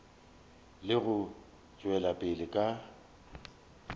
le go tšwela pele ka